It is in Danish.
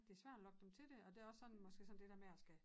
Det svært at lokke dem til det og det også sådan måske det dér med at skal